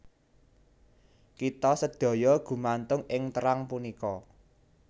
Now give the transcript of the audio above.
Kita sedaya gumantung ing terang punika